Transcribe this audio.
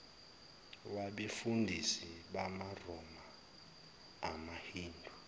wabefundisi bamaroma amahindu